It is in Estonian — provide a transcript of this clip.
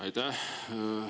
Aitäh!